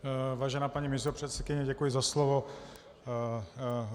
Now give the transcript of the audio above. Vážená paní místopředsedkyně, děkuji za slovo.